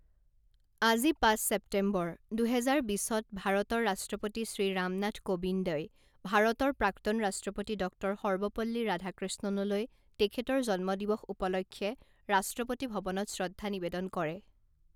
আজি পাঁচ ছেপ্টেম্বৰ, দুহেজাৰ বিছত ভাৰতৰ ৰাষ্ট্ৰপতি শ্ৰী ৰাম নাথ কোবিন্দই ভাৰতৰ প্ৰাক্তন ৰাষ্ট্ৰপতি ডঃ সৰ্বপল্লী ৰাধাকৃষ্ণণলৈ তেখেতৰ জন্ম দিৱস উপলক্ষে ৰাষ্ট্ৰপতি ভৱনত শ্ৰদ্ধা নিবেদন কৰে।